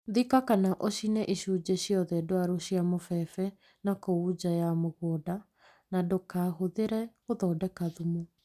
Thika kana ũcine icunjĩ ciothe ndwaru cia mũbebe na kũu nja ya mũgũnda na ndũgacihuthĩre gũthondeka thumu.